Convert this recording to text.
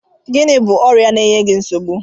Gịnị bụ ọrịa na-eye gị nsogbu?